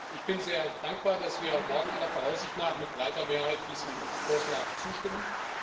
Ich bin sehr dankbar, dass wir morgen aller Voraussicht nach mit breiter Mehrheit diesem Vorschlag zustimmen.